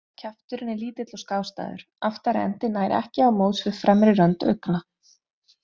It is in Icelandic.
Kjafturinn er lítill og skástæður, aftari endi nær ekki á móts við fremri rönd augna.